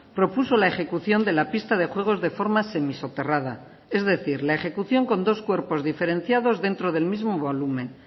propuso la ejecución de la pista de juegos de forma semisoterrada es decir la ejecución con dos cuerpos diferenciados dentro del mismo volumen